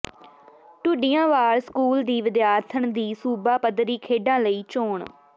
Dhudianwal school ਦੀ ਵਿਦਿਆਰਥਣ ਦੀ ਸੂਬਾ ਪੱਧਰੀ ਖੇਡਾਂ ਲਈ ਚੋਣ